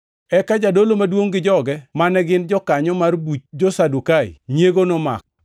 Eka jadolo maduongʼ gi joge, mane gin jokanyo mar buch jo-Sadukai, nyiego nomako.